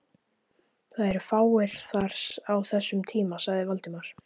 Það eru fáir þar á þessum tíma sagði Valdimar.